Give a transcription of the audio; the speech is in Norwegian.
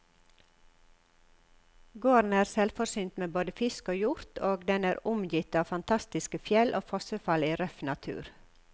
Gården er selvforsynt med både fisk og hjort, og den er omgitt av fantastiske fjell og fossefall i røff natur.